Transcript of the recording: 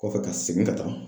Kɔfɛ ka segin ka taa.